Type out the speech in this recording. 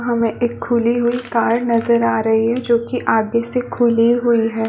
हमें एक खुली हुई कार नजर आ रही है जोकि आगे से खुली हुई है ।